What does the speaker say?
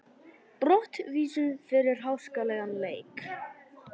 Brottvísun fyrir háskalegan leik?